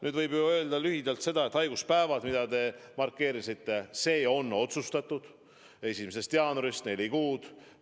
Nüüd võib lühidalt öelda, et haiguspäevade puhul, millest te rääkisite, maksavad teisest kuni viienda päeva eest tööandjad, sealt edasi haigekassa.